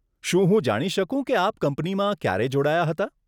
શું હું જાણી શકું કે આપ કંપનીમાં ક્યારે જોડાયાં હતાં?